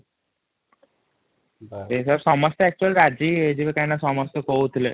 ସମସ୍ତେ ଅକଚୁଆଲୀ ରାଜି ହୋଇଯିବ କନହୀକି ନା ସମସ୍ତେ କହୁଥିଲେ |